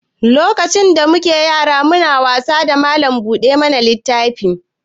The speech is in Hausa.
Lokacin da mu ke yara mu na wasa da mallam buɗe mana littafi.